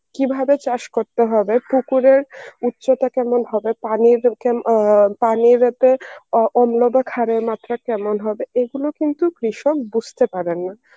কিভাবে চাষ করতে হবে, পুকুরের উচ্চতা কেমন হবে পানির পানির এতে অম্লতা ক্ষারের মাত্রা কেমন হবে এগুলো কিন্তু কৃষক বুঝতে পারেনা.